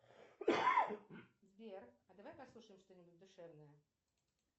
сбер а давай послушаем что нибудь душевное